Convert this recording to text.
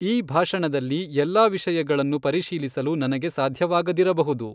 ಈ ಭಾಷಣದಲ್ಲಿ ಎಲ್ಲಾ ವಿಷಯಗಳನ್ನು ಪರಿಶೀಲಿಸಲು ನನಗೆ ಸಾಧ್ಯವಾಗದಿರಬಹುದು.